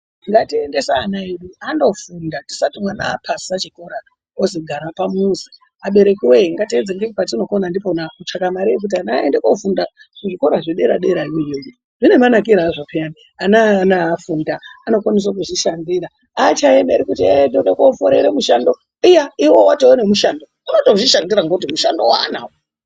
Ngatiendese ana edu andofunda tisati mwana apasa chikora ozi gara pamuzi, abereki woye ngatiedze ngepetinokona kutsvaka mare yekuti ana aende kofunda kuzvikora zvedera dera iyoyo zvine manakire azvo peyani ana aya afunda anokwanisa kuzvishandira achaemeri kuti yee ndoda koorere mushando. Iya iwewe watone mushando unotozvishandira ngokuti mushando wanawo.